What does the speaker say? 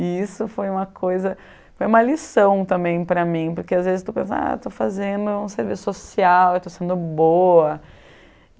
E isso foi uma coisa, foi uma lição também para mim, porque às vezes tu pensa, ah, estou fazendo um serviço social, estou sendo boa.